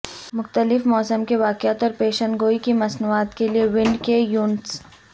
مختلف موسم کے واقعات اور پیشن گوئی کی مصنوعات کے لئے ونڈ کے یونٹس